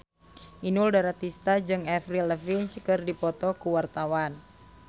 Inul Daratista jeung Avril Lavigne keur dipoto ku wartawan